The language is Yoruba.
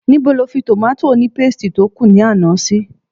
Níbo lo fi tomati ònípéstì tó kù ní àná sí?